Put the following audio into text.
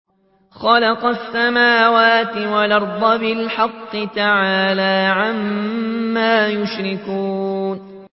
خَلَقَ السَّمَاوَاتِ وَالْأَرْضَ بِالْحَقِّ ۚ تَعَالَىٰ عَمَّا يُشْرِكُونَ